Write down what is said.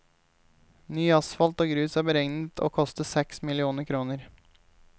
Ny asfalt og grus er beregnet å koste seks millioner kroner.